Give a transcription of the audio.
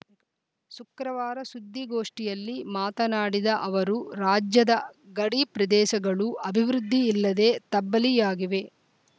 ಶುಕ್ರವಾರ ಸುದ್ದಿಗೋಷ್ಠಿಯಲ್ಲಿ ಮಾತನಾಡಿದ ಅವರು ರಾಜ್ಯದ ಗಡಿಪ್ರದೇಶಗಳು ಅಭಿವೃದ್ಧಿ ಇಲ್ಲದೇ ತಬ್ಬಲಿಯಾಗಿವೆ